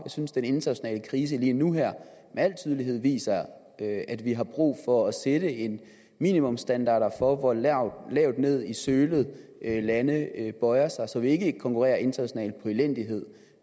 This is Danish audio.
synes den internationale krise lige nu med al tydelighed viser at vi har brug for at sætte en minimumsstandard for hvor lavt ned i sølet lande bøjer sig så vi ikke konkurrerer internationalt på elendighed